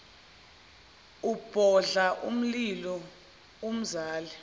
ubhodla umlilo umzala